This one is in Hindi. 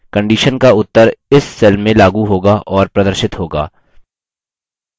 conditions का उत्तर इस cell में लागू होगा और प्रदर्शित होगा